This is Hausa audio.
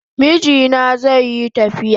Mijina zaiyi tafiya